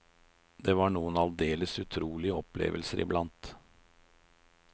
Det var noen aldeles utrolige opplevelser i blant.